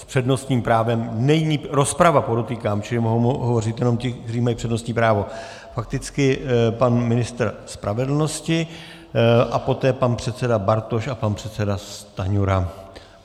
S přednostním právem - není rozprava, podotýkám, čili mohou hovořit jenom ti, kteří mají přednostní právo - fakticky pan ministr spravedlnosti a poté pan předseda Bartoš a pan předseda Stanjura.